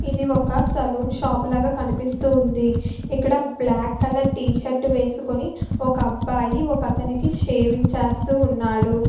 ఏది వక salon shop లాగా కనిపెస్తునది ఇక్కడ బ్లాక్ కలర్ టి షర్టు వేసోకొని వక అబ్బాయి వక ఒకతనికి షేవింగ్ చేస్తూ ఉనారు.